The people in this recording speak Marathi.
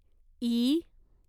ई